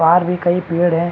भी कई पेड़ है।